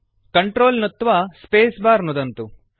control नुत्त्वा spacebar नुदन्तु